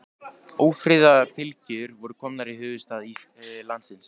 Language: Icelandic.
Ófriðarfylgjur voru komnar í höfuðstað landsins.